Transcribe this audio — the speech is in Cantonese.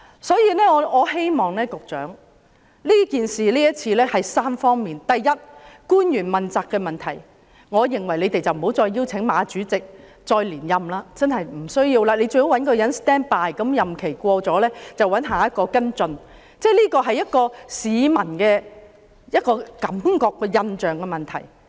所以，今次事件包括3方面：第一，官員問責的問題，我認為不要再邀請馬主席連任，應該找一個後備人選，當馬主席的任期完結便找下任主席跟進，這是市民的感覺和印象的問題。